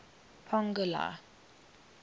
pongola